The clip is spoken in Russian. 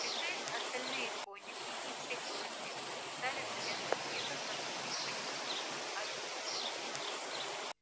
пришли остальные конюхи их всех было четверо и стали в железных мерках разносить по денникам овёс